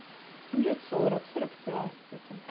ну лет сорок сорок пять где-то